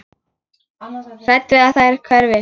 Hrædd við að þær hverfi.